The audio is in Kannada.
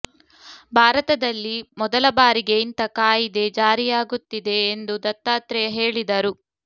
ಭಾರತದಲ್ಲಿ ಮೊದಲ ಬಾರಿಗೆ ಇಂಥ ಕಾಯಿದೆ ಜಾರಿಯಾಗುತ್ತಿದೆ ಎಂದು ದತ್ತಾತ್ರೇಯ ಹೇಳಿದರು